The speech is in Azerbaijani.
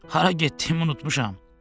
Hara getdiyimi unutmuşam.